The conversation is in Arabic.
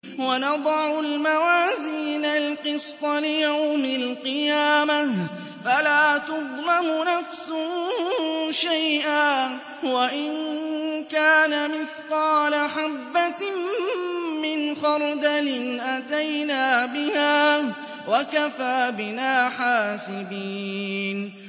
وَنَضَعُ الْمَوَازِينَ الْقِسْطَ لِيَوْمِ الْقِيَامَةِ فَلَا تُظْلَمُ نَفْسٌ شَيْئًا ۖ وَإِن كَانَ مِثْقَالَ حَبَّةٍ مِّنْ خَرْدَلٍ أَتَيْنَا بِهَا ۗ وَكَفَىٰ بِنَا حَاسِبِينَ